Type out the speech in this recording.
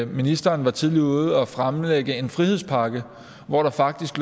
ministeren var tidligt ude at fremlægge en frihedspakke hvor der faktisk